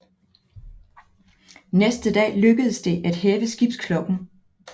Næste dag lykkedes det at hæve skibsklokken